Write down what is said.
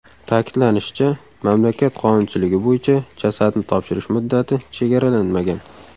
Ta’kidlanishicha, mamlakat qonunchiligi bo‘yicha, jasadni topshirish muddati chegaralanmagan.